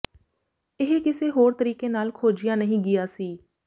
ਇਹ ਕਿਸੇ ਹੋਰ ਤਰੀਕੇ ਨਾਲ ਖੋਜਿਆ ਨਹੀਂ ਗਿਆ ਸੀ